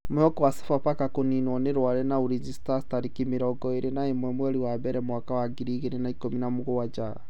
Mwihoko wa Sofapaka kũninũo nĩ Rware na ulinzi stars tarĩki mĩrongo ĩrĩ na imwe mweri wa mbere mwaka wa ngiri ingĩrĩ na ikũmi na mũgwanja